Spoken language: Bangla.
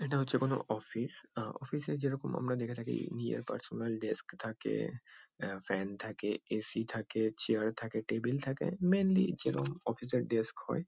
এটা হচ্ছে কোনো অফিস আ- আ অফিস - এ আমরা যেরকম দেখে থাকি নিজের পার্সোনাল ডেস্ক থাকে আ ফ্যান থাকে এ.সি থাকে চেয়ার থাকে টেবিল থাকে। মেইনলি যেরকম অফিস - এর ডেস্ক হয়।